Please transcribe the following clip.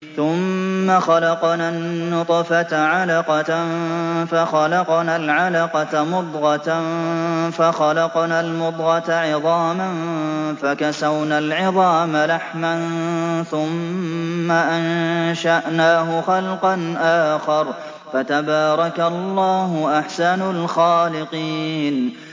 ثُمَّ خَلَقْنَا النُّطْفَةَ عَلَقَةً فَخَلَقْنَا الْعَلَقَةَ مُضْغَةً فَخَلَقْنَا الْمُضْغَةَ عِظَامًا فَكَسَوْنَا الْعِظَامَ لَحْمًا ثُمَّ أَنشَأْنَاهُ خَلْقًا آخَرَ ۚ فَتَبَارَكَ اللَّهُ أَحْسَنُ الْخَالِقِينَ